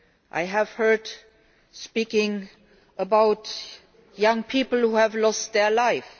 I have heard speeches about young people who have lost their lives.